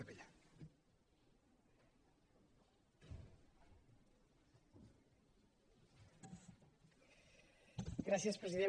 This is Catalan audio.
gràcies president